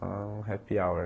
É só um happy hour.